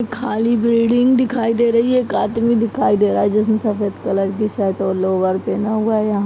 खाली बिल्डिंग दिखाई दे रही हैएक आदमी दिखाई दे रहा है जिसने सफेद कलर की शर्ट और लोअर पहना हुआ है यहा --